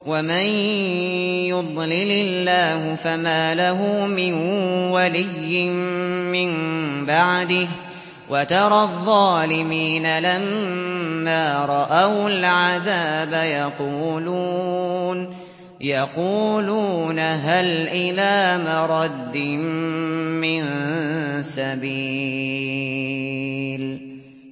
وَمَن يُضْلِلِ اللَّهُ فَمَا لَهُ مِن وَلِيٍّ مِّن بَعْدِهِ ۗ وَتَرَى الظَّالِمِينَ لَمَّا رَأَوُا الْعَذَابَ يَقُولُونَ هَلْ إِلَىٰ مَرَدٍّ مِّن سَبِيلٍ